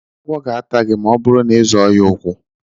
Agwọ ga-ata gị ma ọ bụrụ na ị zọọ ya ụkwụ.